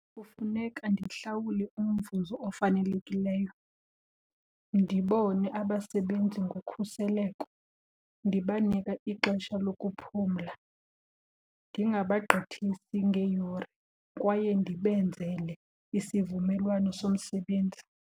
Kufuneka ndihlawule umvuzo ofanelekileyo, ndibone abasebenzi ngokhuseleko, ndibanike ixesha lokuphumla, ndingabagqithisi ngeeyure kwaye ndibenzele isivumelwano somsebenzi.